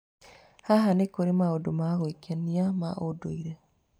Haha, nĩ kũrĩ maũndũ ma gwĩkenia ma ũndũire.